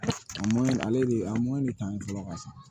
A ale de a de talan ka ca